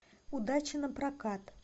удача на прокат